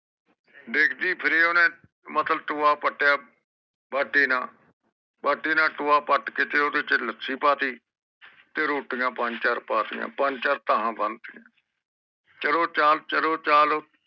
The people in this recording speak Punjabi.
ਡਿਗਦੀ ਫਿਰੇ ਮਤਲਬ ਓਹਨੇ ਟੋਯਾ ਪਤੀਆਂ ਬਾਟੇ ਨਾਲ ਤੇ ਬਾਟੇ ਨਾ ਟੋਇਆ ਪੈਟ ਕੇ ਓਫੜੇ ਵਿਚ ਲੱਸੀ ਪਾ ਤੀ ਤੇ ਰੋਟੀਆਂ ਪੰਜ ਚਾਰ ਪਤੀਆਂ ਪੰਜ ਚਾਰ ਤਾਹ ਬਣ ਚਲੋ